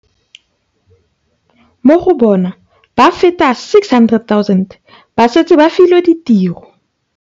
Mo go bona, ba feta 600 000 ba setse ba filwe ditiro.